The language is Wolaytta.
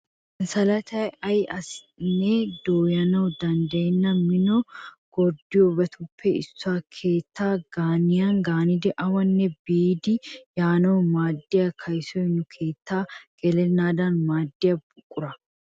Sanssalatay ayi asinne dooyanawu danddayenna Mino gorddiyoobatuppe issuwa. Keettaa gaaniyan gaanidi awanne biidi yaanawu maaddiya kayisoy nu keettaa gelennaadan maaddiya buqura.